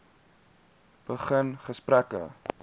begin gesprekke